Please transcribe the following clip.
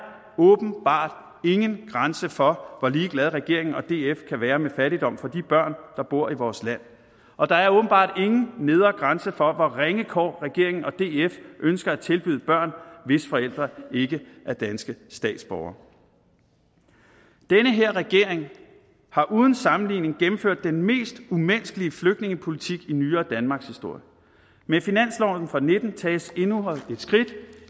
åbenbart ingen grænser for hvor ligeglad regeringen og df kan være med fattigdom for de børn som bor i vores land og der er åbenbart ingen nedre grænse for ringe kår regeringen og df ønsker at tilbyde børn hvis forældre ikke er danske statsborgere den her regering har uden sammenligning gennemført den mest umenneskelige flygtningepolitik i nyere danmarkshistorie med finansloven og nitten tages endnu et skridt